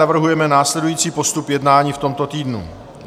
Navrhujeme následující postup jednání v tomto týdnu: